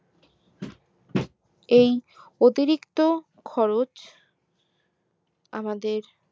এই অতিরিক্ত খরচ আমাদের